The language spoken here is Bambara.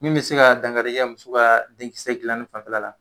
Min bi se ka dankari kɛ muso ka denkisɛ gilanni fanfɛla la